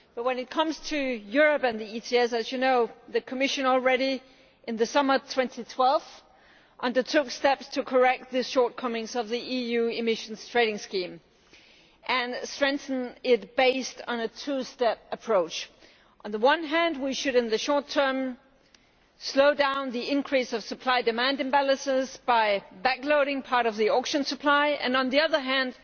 But when it comes to Europe and the ETS, as you know, the Commission already in the summer of 2012 undertook steps to correct the shortcomings of the EU emissions trading scheme and strengthen it, based on a two step approach. On the one hand we should in the short term slow down the increase of supply demand imbalances by backloading part of the auction supply and, on the other hand,